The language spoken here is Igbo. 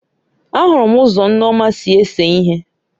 Ahụrụ m ụzọ nneoma si ese ihe